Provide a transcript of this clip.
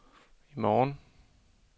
i morgen